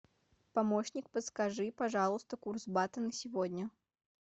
помощник подскажи пожалуйста курс бата на сегодня